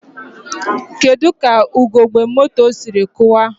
Kedu ka ugogbe moto siri kụwaa?